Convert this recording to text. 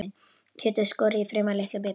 Kjötið skorið í fremur litla bita.